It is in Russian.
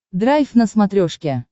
драйв на смотрешке